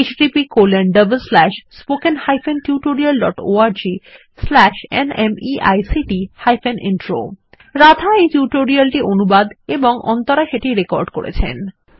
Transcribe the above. httpspoken tutorialorgNMEICT Intro Radha এই tutorial টি অনুবাদ এবং অন্তরা সেটি রেকর্ড করেছেন